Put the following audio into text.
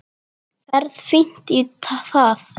Ferð fínt í það.